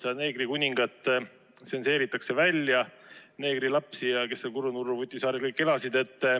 Sealt tsenseeritakse välja neegrikuningat, neegrilapsi ja kes seal Kurrunurruvutisaarel kõik elasid.